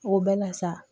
O bɛɛ la sa